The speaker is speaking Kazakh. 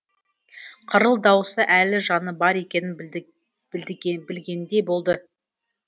қырыл даусы әлі жаны бар екенін білдігендей болды